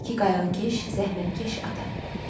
Özü də ki, qayığıkeş, zəhmətkeş ata.